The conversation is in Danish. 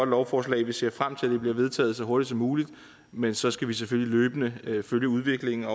lovforslag vi ser frem til at det bliver vedtaget så hurtigt som muligt men så skal vi selvfølgelig løbende følge udviklingen og